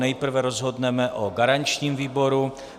Nejprve rozhodneme o garančním výboru.